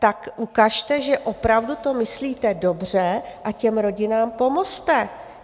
Tak ukažte, že opravdu to myslíte dobře, a těm rodinám pomozte.